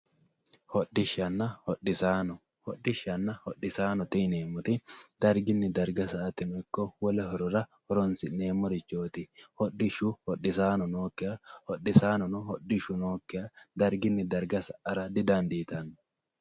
hodhishshanna hodhisaano hodhishshanna hodhisaanote yineemoti dargini darga sa"ate hogophote horora horonsi'neemorichooti hodhishshu hodhisaano nookiha hodhisaanono hodhishshu nookiha dargin darga sa"ara didandiitanno.